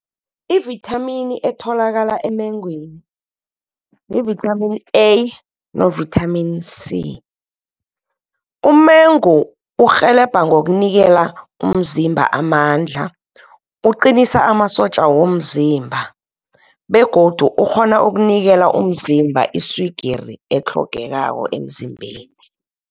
Ivithamini etholakala emengweni, yi-vitamin A no vitamin C. Umengu urhelebha ngokunikela umzimba amandla. Uqinisa amasotja womzimba, begodu ukghona ukunikela umzimba iswigiri, etlhogekako emzimbeni.